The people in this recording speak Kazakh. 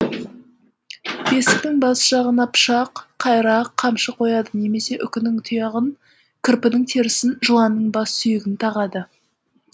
бесіктің бас жағына пышақ қайрақ қамшы қояды немесе үкінің тұяғын кірпінің терісін жыланның бас сүйегін тағады